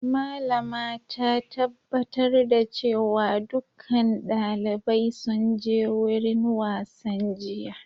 Malama ta tabbatar da cewa dukkan dalibai sun je wurin wasan jiya.